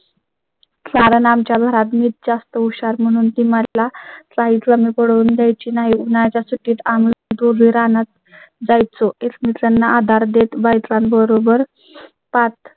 शरणम च्या घरात मिळत जास्त हुशार म्हणून ती मला पाहिजे मिळवून द्यायची नाही. उन्हाळ्या च्या सुट्टीत आम्ही दोघे रानात जाय चं. एकमेकांना आधार देत बायकांबरोबर पाठ